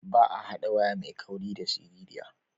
Ba a haɗa waya mai kauri da siririya.